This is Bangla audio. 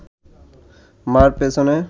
মা’র পেছনে